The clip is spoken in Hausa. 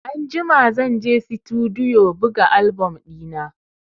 Anjima zan je Situdiyo buga album ɗina.